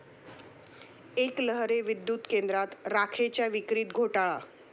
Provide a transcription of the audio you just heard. एकलहरे विद्युत केंद्रात राखेच्या विक्रीत घोटाळा